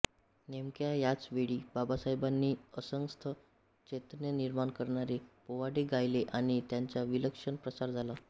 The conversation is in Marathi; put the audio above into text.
नेमक्या याच वेळी बाबासाहेबांनी असंख्य चैतन्य निर्माण करणारे पोवाडे गायले आणि त्यांचा विलक्षण प्रसार झाला